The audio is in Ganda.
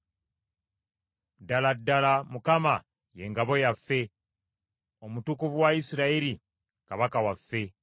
Ddala ddala, Mukama ye ngabo yaffe, Omutukuvu wa Isirayiri kabaka waffe.